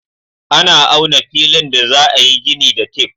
Ana auna filin da za a yi gini da tif.